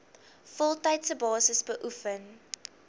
voltydse basis beoefen